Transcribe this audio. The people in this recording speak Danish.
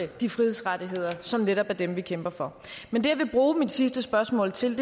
de frihedsrettigheder som netop er dem vi kæmper for men det jeg vil bruge mit sidste spørgsmål til